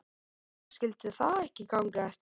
Því skyldi það ekki ganga eftir?